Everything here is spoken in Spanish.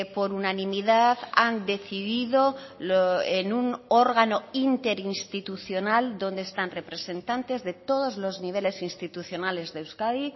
por unanimidad han decidido en un órgano interinstitucional donde están representantes de todos los niveles institucionales de euskadi